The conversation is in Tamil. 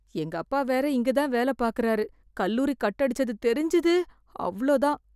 எங்க அப்பா வேற இங்க தான் வேல பாக்குறாரு , கல்லூரி கட் அடிச்சது தெரிஞ்சது, அவ்ளோ தான்!